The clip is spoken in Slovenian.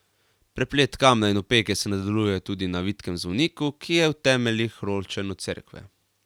Preplet kamna in opeke se nadaljuje tudi na vitkem zvoniku, ki je v temeljih ločen od cerkve.